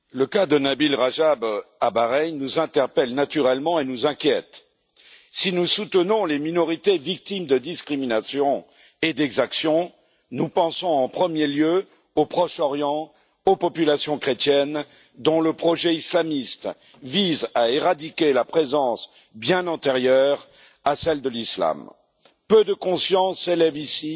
Monsieur le Président, le cas de Nabil Rajab à Bahreïn nous interpelle naturellement et nous inquiète. Si nous soutenons les minorités victimes de discriminations et d'exactions, nous pensons en premier lieu, au Proche Orient, aux populations chrétiennes, dont le projet islamiste vise à éradiquer la présence, bien antérieure, à celle de l'Islam. Peu de consciences s'élèvent ici